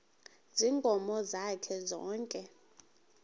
ziinkomo zakhe zonke